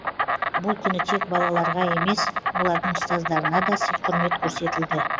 бұл күні тек балаларға емес олардың ұстаздарына да сый құрмет көрсетілді